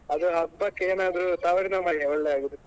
ಅದು ಹಬ್ಬಕ್ಕೆ ಏನಾದ್ರು ತವರಿನ ಮನೆ ಒಳ್ಳೆ ಆಗುದು.